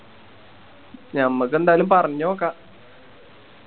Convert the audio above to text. ഞമ്മക്കെന്തായാലും പറഞ്ഞ് നോക്കാ